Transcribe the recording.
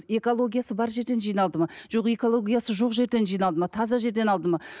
экологиясы бар жерден жиналды ма жоқ экологиясы жоқ жерден жиналды ма таза жерден алды ма